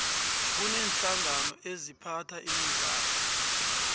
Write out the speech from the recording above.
kuneenhlangano eziphatha imidlalo